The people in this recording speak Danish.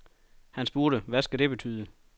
Han spurgte, hvad det skulle betyde.